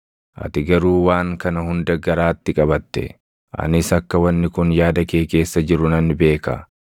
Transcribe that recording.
“Ati garuu waan kana hunda garaatti qabatte; anis akka wanni kun yaada kee keessa jiru nan beeka.